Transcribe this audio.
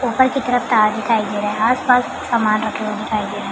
ऊपर की तरफ तार दिखाई दे रहा है आसपास सामान रखे हुए दिखाइ दे रहे है ।